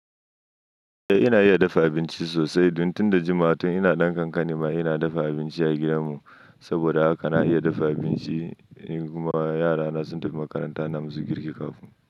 Eh ina iya dafa abinci sosai. Tun da jimawa tun ina ɗan kankani ma ina dafa abinci a gidan mu. Saboda haka na iya dafa abinci. In kuma yarana sun tafi makaranta na musu girki kafin.